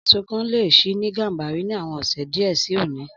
Ọjà èso kan lè ṣí ní Gàmbàrí ni àwon ọ̀sẹ̀ díẹ̀ si òní